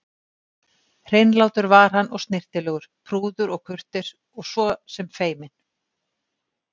Hreinlátur var hann og snyrtilegur, prúður og kurteis og svo sem feiminn.